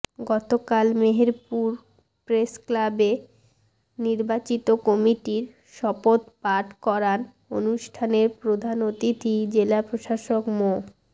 গতকাল মেহেরপুর প্রেসক্লাবে নির্বাচিত কমিটির শপথ পাঠ করান অনুষ্ঠানের প্রধান অতিথি জেলা প্রশাসক মো